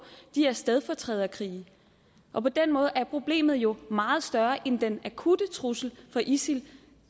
de her stedfortræderkrige og på den måde er problemet jo meget større end den akutte trussel fra isil